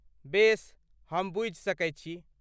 बेस, हम बुझि सकैत छी।